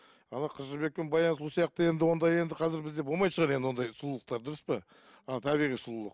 қыз жібек пен баян сұлу сияқты енді ондай енді қазір бізде болмайтын шығар енді ондай сұлулықтар дұрыс па анау табиғи сұлулық